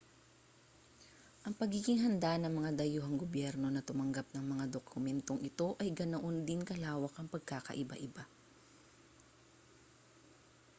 ang pagiging handa ng mga dayuhang gobyerno na tumanggap ng mga dokumentong ito ay ganoon din kalawak ang pagkakaiba-iba